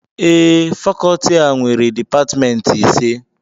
Ee, Fakọọti a nwere Dipatmentị ise